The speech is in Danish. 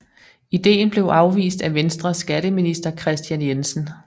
Ideen blev afvist af Venstres skatteminister Kristian Jensen